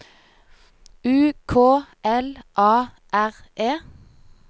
U K L A R E